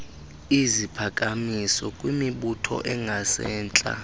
iziphakamiso kwimibutho engasentla